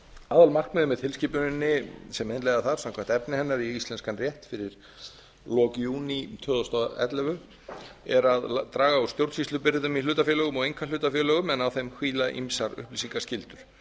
aðalmarkmiðið með tilskipuninni sem innleiða þarf samkvæmt efni hennar í íslenskan rétt fyrir lok júní tvö þúsund og ellefu er að draga úr stjórnsýslubyrðum í hlutafélögum og einkahlutafélögum en á þeim hvíla ýmsar upplýsingaskyldur